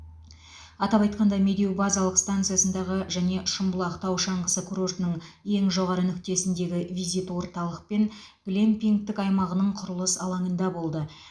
атап айтқанда медеу базалық станциясындағы және шымбұлақ тау шаңғысы курортының ең жоғары нүктесіндегі визит орталық пен глэмпингтік аймағының құрылыс алаңында болды